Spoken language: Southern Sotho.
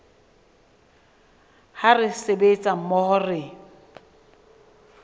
ha re sebetsa mmoho re